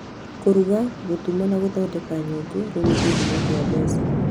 Kũruga, gũtuma, na gũthondeka nyũngũ rĩu nĩ kĩhumo kĩa mbeca.